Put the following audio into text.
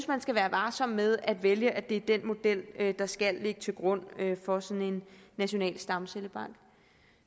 man skal være varsom med at vælge at det er den model der skal ligge til grund for sådan en national stamcellebank